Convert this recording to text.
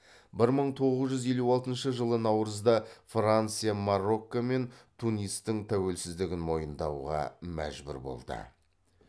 бір мың тоғыз жүз елу алтыншы жылы наурызда франция марокко мен тунистің тәуелсіздігін мойындауға мәжбүр болды